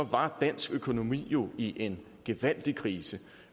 var dansk økonomi jo i en gevaldig krise